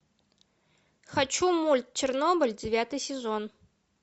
хочу мульт чернобыль девятый сезон